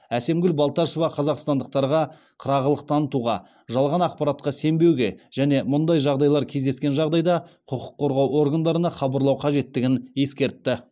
әсемгүл балташева қазақстандықтарға қырағылық танытуға жалған ақпаратқа сенбеуге және мұндай жағдайлар кездескен жағдайда құқық қорғау органдарына хабарлау қажеттігін ескертті